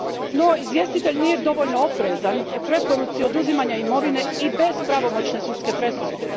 No izvjestitelj nije dovoljno oprezan u preporuci oduzimanja imovine i bez pravomoćne sudske presude.